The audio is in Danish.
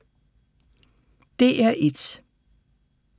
DR1